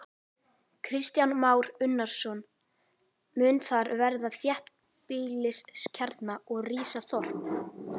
Kristján Már Unnarsson: Mun þar verða þéttbýliskjarni og rísa þorp?